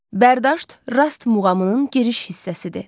Bərdüşt Rast muğamının giriş hissəsidir.